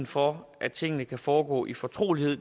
for at tingene kan foregå i fortrolighed